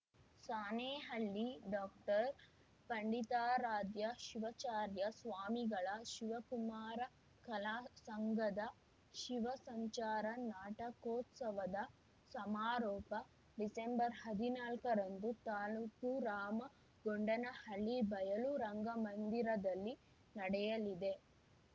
Sanehalli doctor Panditaradhya Shivacharya ಸ್ವಾಮಿಗಳ ಶಿವಕುಮಾರ ಕಲಾ ಸಂಘದ ಶಿವ ಸಂಚಾರ ನಾಟಕೋತ್ಸವದ ಸಮಾರೋಪ ಡಿಸೆಂಬರ್ಹದಿನಾಲಕ್ಕ ರಂದು ತಾಲೂಕು ರಾಮಗೊಂಡನಹಳ್ಳಿ ಬಯಲು ರಂಗಮಂದಿರದಲ್ಲಿ ನಡೆಯಲಿದೆ